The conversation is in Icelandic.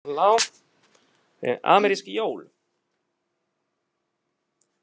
Amerísk jól.